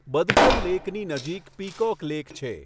બદખલ લેકની નજીક peacock lake છે.